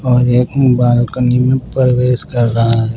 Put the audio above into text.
और एक बालकनी में प्रवेश कर रहा है।